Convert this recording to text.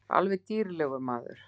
Alveg dýrlegur maður.